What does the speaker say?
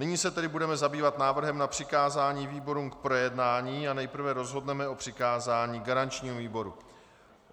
Nyní se tedy budeme zabývat návrhem na přikázání výborům k projednání a nejprve rozhodneme o přikázání garančnímu výboru.